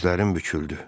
Dizlərim büküldü.